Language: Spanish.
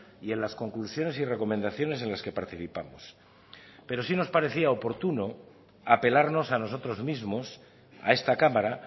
y en las conclusiones y recomendaciones en las que participamos pero sí nos parecía oportuno apelarnos a nosotros mismos a esta cámara